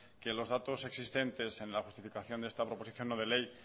que los datos existentes en la justificación de esta proposición no de ley